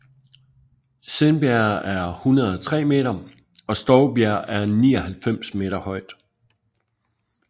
Sindbjerg er 103 meter og Stovbjerg er 99 meter højt